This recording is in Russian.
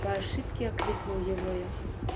по ошибке окликнул его я